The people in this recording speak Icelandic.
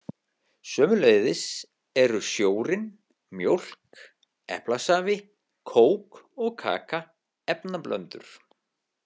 Sömuleiðis eru sjórinn, mjólk, eplasafi, kók og kaka efnablöndur.